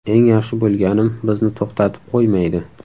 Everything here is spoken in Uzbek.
Eng yaxshi bo‘lganim bizni to‘xtatib qo‘ymaydi.